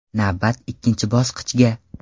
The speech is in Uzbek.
Navbat ikkinchi bosqichga.